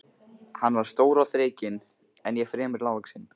Hann var stór og þrekinn en ég fremur lágvaxinn.